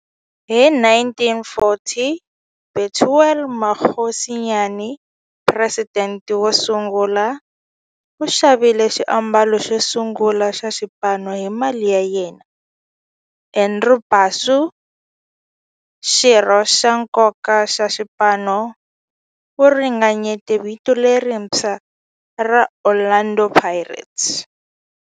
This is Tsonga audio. Hi 1940, Bethuel Mokgosinyane, president wosungula, u xavile xiambalo xo sungula xa xipano hi mali ya yena. Andrew Bassie, xirho xa nkoka xa xipano, u ringanyete vito lerintshwa ra 'Orlando Pirates'.